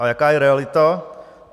A jaká je realita?